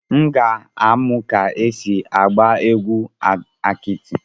M ga-amụ ka esi agba egwu akiti.